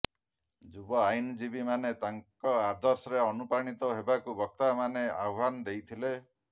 ଯୁବ ଆଇନଜିବୀମାନେ ତାଙ୍କ ଆଦର୍ଶରେ ଅନୁପ୍ରାଣିତ ହେବାକୁ ବକ୍ତାମାନେ ଆହ୍ୱାନ ଦେଇଥିଲେ